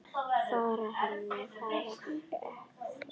Frá henni varð ekki flúið.